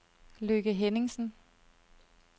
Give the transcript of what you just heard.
Lykke Henningsen